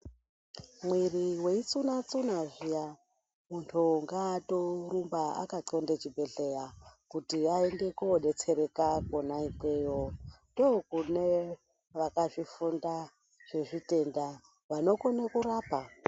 Mwiri weitsuna-tsuna zviya, muntu ngaatorumba akaqonde chibhedhleya, kuti aende koodetsereka kwona ikweyo, ndokune vakazvifunda zvezvitenda, vanokone kurapa.